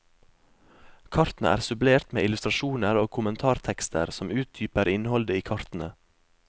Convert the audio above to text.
Kartene er supplert med illustrasjoner og kommentartekster som utdyper innholdet i kartene.